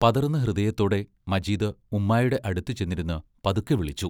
പതറുന്ന ഹൃദയത്തോടെ മജീദ് ഉമ്മായുടെ അടുത്തു ചെന്നിരുന്ന് പതുക്കെ വിളിച്ചു.